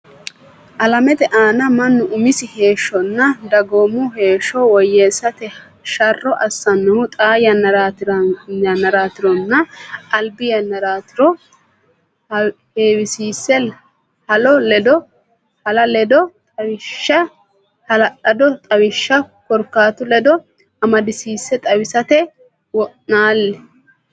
Alamete aana mannu umisi heeshshonna dagoomu heeshsho woyyeessate sharro assannohu xaa yannaraatironna albi yannaraatiro heewisiisse hala lado xawishsha korkaatu ledo amadisiisse xawisate wo naali.